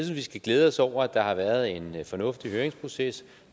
at vi skal glæde os over at der har været en fornuftig høringsproces